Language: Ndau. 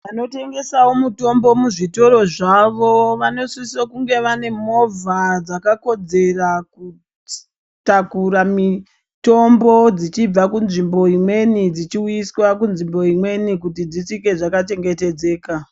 Vanotengesawo mitombo muzvitoro zvavo vanosisira kunge vane movha dzakakodzera kutakura mitombo dzichibva munzvimbo imweni zvichienda munzvimbo imweni kuti dzisvike dzakachengetedzeka.